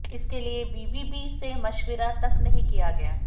इसके लिए बीबीबी से मशविरा तक नहीं किया गया